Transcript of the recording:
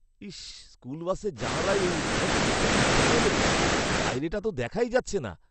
ইশ, স্কুল বাসের জানালায় এই উদ্ভট জিনিসটা কোত্থেকে এল? বাইরেটা তো দেখাই যাচ্ছে না।